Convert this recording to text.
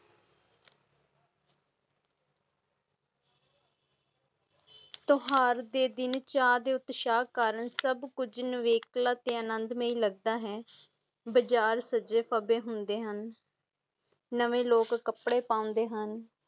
ਤਯੋਹਰ ਦੇ ਦਿਨ ਚਾ ਤੇ ਉਤਸਾਹ ਨਾਲ ਸਭ ਕੁਜ ਨਵਕਲਾ ਤੇ ਆਨੰਦਮਈ ਲਗਦਾ ਹੀ ਬਜਾਰ ਸਾਜੇ ਖਾਬੇ ਹੁੰਦੇ ਹਾਂ ਨਵੇ ਲੋਕ ਕਪੜੇ ਪਾਂਡੇ ਹਾਂ.